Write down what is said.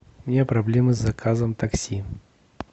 у меня проблемы с заказом такси